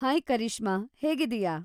Hi Karishma, ಹೇಗಿದೀಯಾ?